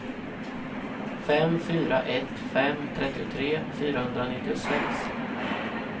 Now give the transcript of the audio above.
fem fyra ett fem trettiotre fyrahundranittiosex